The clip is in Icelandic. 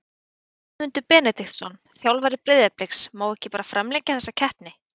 Guðmundur Benediktsson, þjálfari Breiðabliks Má ekki bara framlengja þessa keppni?